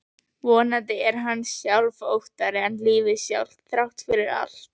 Vonandi er hann auðsóttari en lífið sjálft, þrátt fyrir allt.